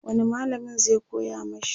wani mallamin zai koya mashi?